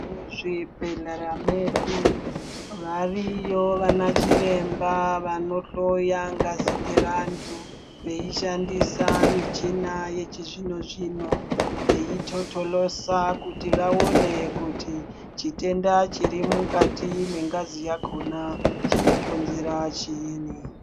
Muzvibhedhlera medu variyo vana chiremba vanohloya ngazi dzevantu veishandisa michina yechizvono zvino veitotolosa kuti vaone kuti chitenda chiri mukati mwengazi yakona chinokonzera chiini.